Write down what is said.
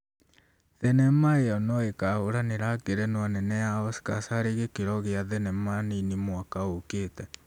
Thenema ĩyo noĩkahũranĩra ngerenwa nene ya Oscars harĩ gĩkĩro gĩa thenema nini mwaka ũkĩte